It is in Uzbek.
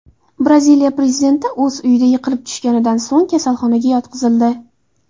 Braziliya prezidenti o‘z uyida yiqilib tushganidan so‘ng kasalxonaga yotqizildi.